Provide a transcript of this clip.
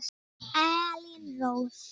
Elín Rós.